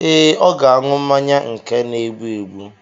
Ee, ọ ga-aṅụ mmanya nke na-egbu egbu.